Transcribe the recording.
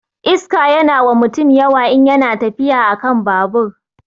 Iska yana wa mutum yawa in yana tafiya akan babur